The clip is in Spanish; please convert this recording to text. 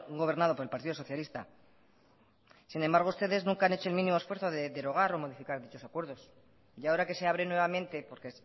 gobernado por el partido socialista sin embargo ustedes nunca han hecho el mínimo esfuerzo de derogar o modificar dichos acuerdos y ahora que se abren nuevamente porque